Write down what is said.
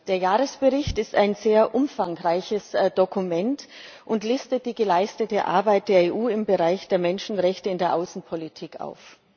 Der Jahresbericht ist ein sehr umfangreiches Dokument und listet die geleistete Arbeit der EU im Bereich der Menschenrechte in der Außenpolitik auf.